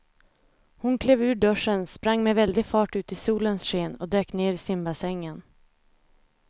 Hon klev ur duschen, sprang med väldig fart ut i solens sken och dök ner i simbassängen.